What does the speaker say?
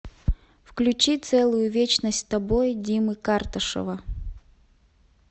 включи целую вечность с тобой димы карташова